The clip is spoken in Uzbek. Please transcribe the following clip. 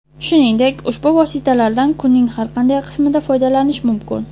Shuningdek, ushbu vositalardan kunning har qanday qismida foydalanish mumkin.